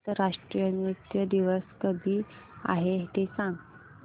आंतरराष्ट्रीय नृत्य दिवस कधी आहे ते सांग